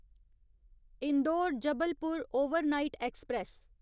Indore Jabalpur overnight express